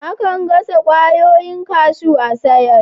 Akan gasa kwayoyin kashew a'sayar.